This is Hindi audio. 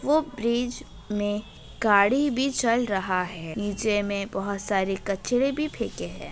वो ब्रिज में गाड़ी भी चल रहा है नीचे मे बहुत सारे कचरे भी फेके हैं।